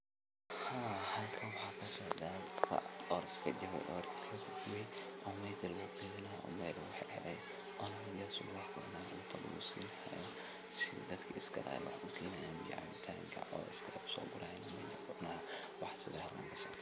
Haa halkan waxaa kasocda sac jabe ayaa lagu keedini haaya oo cunta meesha lagu siini haaya sida coos ayaa meesha loogu keeni haaya.